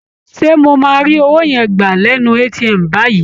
Ṣé mo máa rí owó yẹn gbà lẹ́nu ATM báyìí?